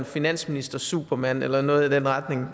finansministersupermand eller noget i den retning